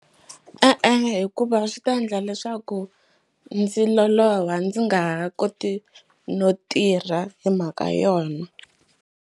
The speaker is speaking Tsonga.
E-e, hikuva swi ta endla leswaku ndzi loloha ndzi nga ha koti no tirha hi mhaka yona.